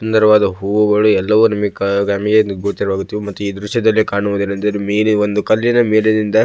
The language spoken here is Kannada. ಸುಂದರವಾದ ಹೂವುಗಳು ಎಲ್ಲವು ನಮಿಗೆ ನಮಗೆ ಗೋಚರವಾಗುತ್ತದೆ ಮತ್ತು ಈ ದ್ರಶ್ಯದಲ್ಲಿ ಕಾಣುವುದು ಏನೆಂದರೆ ಮೇಲೆ ಒಂದು ಕಲ್ಲಿನ ಮೇಲಿನಿಂದ--